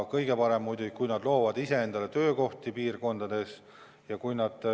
Kõige parem oleks muidugi, kui nad loovad ise endale neis piirkondades töökohti.